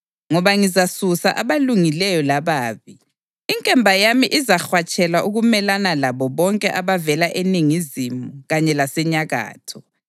Ngoba ngizasusa abalungileyo lababi, inkemba yami izahwatshelwa ukumelana labo bonke abavela eningizimu kanye lasenyakatho.